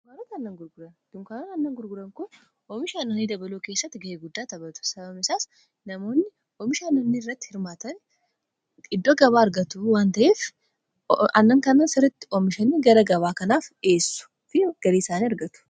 dunkaanonni aannan gurguran oomisha aannanii dabaluu keessatti ga'ee guddaa tabatu sababniisaas namoonni oomishaanoonni irratti hirmaatani iddoo gabaa argatu waanta'eef annan kana sirriitti oomishanii gara gabaa kanaaf dhi'eessu fi galiisaan argatu